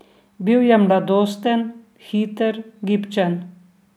Bil je mladosten, hiter, gibčen.